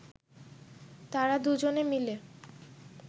তারা দুজনে মিলে